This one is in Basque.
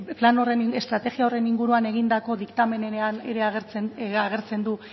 plan horren estrategia horren inguruan egindako diktamenenean agertzen du